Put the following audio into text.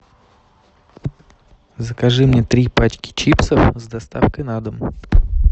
закажи мне три пачки чипсов с доставкой на дом